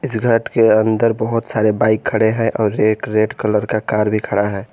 इस घर के अंदर बहोत सारे बाइक खड़े है और एक रेड कलर का कार भी खड़ा है।